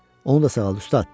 Onu da sağalt, ustad.